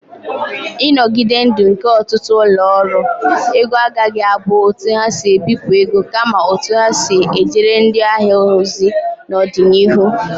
Ịnogide ndụ nke ọtụtụ ụlọ ọrụ ego agaghị abụ otu ha si ebipụ ego, kama otu ha si ejere ndị ahịa ha ozi n'ọdịnihu.